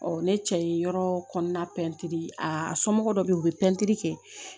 ne cɛ ye yɔrɔ kɔnɔna pɛntiri a somɔgɔ dɔ bɛ yen o bɛ pɛntiri kɛ